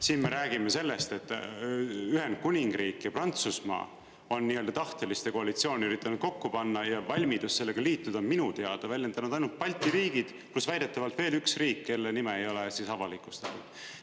Siis me räägime sellest, et Ühendkuningriik ja Prantsusmaa on nii-öelda tahteliste koalitsiooni üritanud kokku panna, ja valmidust sellega liituda on minu teada väljendanud ainult Balti riigid ja siis väidetavalt veel üks riik, kelle nime ei ole avalikustatud.